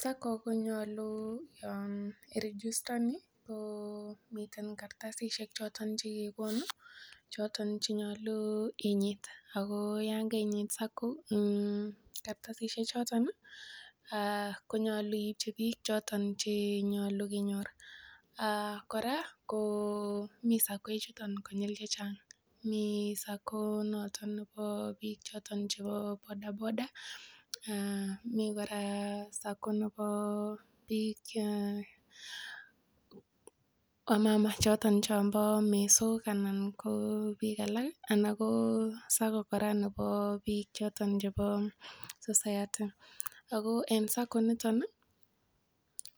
SACCO konyolu yon iregistani komiten kartasishek choton che kegonu choton che nyolu inyit, ago yon kainyit kartasishek choto, konyolu iibchi biik choto chenyolu kenyor. Ago kora ko mi SACCO ichuto konyil chechang, mi SACCO nebo biik choto chebo bodaboda mi kora SACCO nebo biik wamama choto che bo mesok anan ko SACCo kora nebo biik choto chebo society ago en SACCO inito